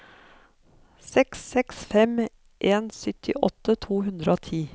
seks seks fem en syttiåtte to hundre og ti